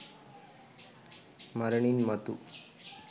මරණින් මතු